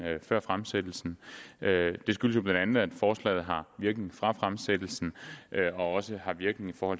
før fremsættelsen det skyldes jo bla at forslaget har virkning fra fremsættelsen og også har virkning for